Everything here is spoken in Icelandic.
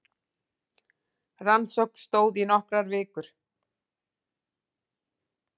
Rannsókn stóð í nokkrar vikur